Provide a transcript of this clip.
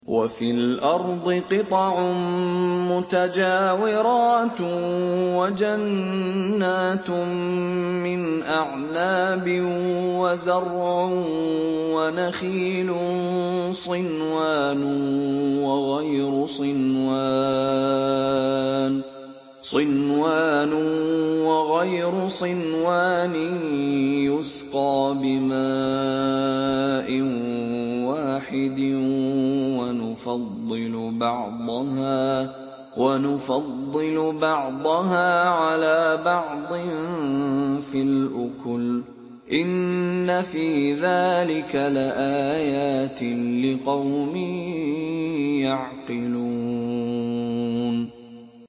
وَفِي الْأَرْضِ قِطَعٌ مُّتَجَاوِرَاتٌ وَجَنَّاتٌ مِّنْ أَعْنَابٍ وَزَرْعٌ وَنَخِيلٌ صِنْوَانٌ وَغَيْرُ صِنْوَانٍ يُسْقَىٰ بِمَاءٍ وَاحِدٍ وَنُفَضِّلُ بَعْضَهَا عَلَىٰ بَعْضٍ فِي الْأُكُلِ ۚ إِنَّ فِي ذَٰلِكَ لَآيَاتٍ لِّقَوْمٍ يَعْقِلُونَ